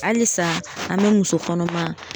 Halisa an bɛ muso kɔnɔma